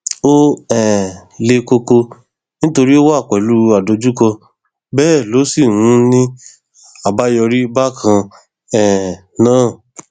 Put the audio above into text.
ó um le koko nítorí ó wà pẹlú adójúkọ bẹẹ ló sì ń ní àbáyọrí bákan um náà